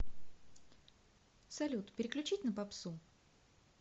салют переключить на попсу